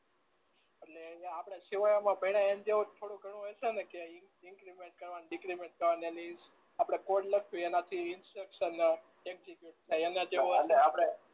એટલે આપણે થોડું ધણું હોય છે ને કે ઈ ઇન્ક્લીમેન્ટ કરવા ને ડીકલીમેન્ટ કરવા આપણે કોડ લખવીએ એના થી ઇન્ફેક્સન એક્ઝીક્યુટ થાય